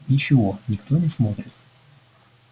ничего никто не смотрит